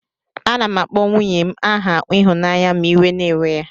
Anam akpọ nwunyen aha ihunanya ma iwe na ewe ya.